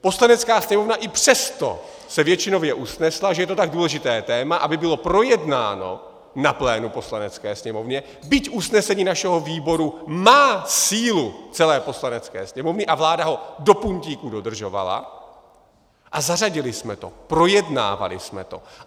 Poslanecká sněmovna i přesto se většinově usnesla, že je to tak důležité téma, aby bylo projednáno na plénu Poslanecké sněmovny, byť usnesení našeho výboru má sílu celé Poslanecké sněmovny a vláda ho do puntíku dodržovala, a zařadili jsme to, projednávali jsme to.